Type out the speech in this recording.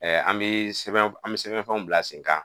An bɛ sɛbɛn an bɛ sɛbɛnfɛnw bila sen kan